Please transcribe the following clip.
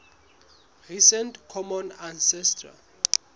recent common ancestor